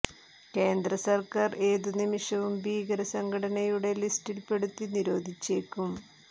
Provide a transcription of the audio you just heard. കേന്ദ്ര സർക്കാർ ഏതു നിമിഷവും ഭീകര സംഘടനയുടെ ലിസ്റ്റിൽ പെടുത്തി നിരോധിച്ചേക്കും